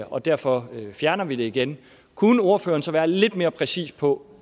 og derfor fjerner vi det igen kunne ordføreren så være lidt mere præcis på